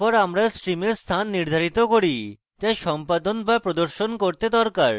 তারপর আমরা stream স্থান নির্ধারিত করি যা সম্পাদন বা প্রদর্শন করতে দরকার